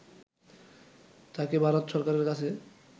তাকে ভারত সরকারের কাছে